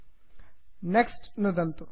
next next नुदन्तु